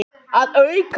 Að auki